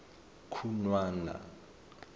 khunwana